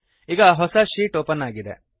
ಈಗ ಹೊಸ sheet open ಆಗಿದೆ